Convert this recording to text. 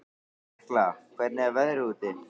Tekla, hvernig er veðrið úti?